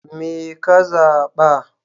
Me ka zaɓa?